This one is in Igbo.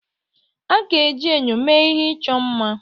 A ga-eji enyo mee ihe ịchọ mma.